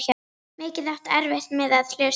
Mikið áttu erfitt með að hlusta.